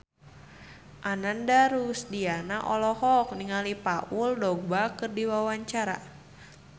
Ananda Rusdiana olohok ningali Paul Dogba keur diwawancara